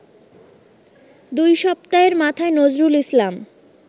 দুই সপ্তাহের মাথায় নজরুল ইসলাম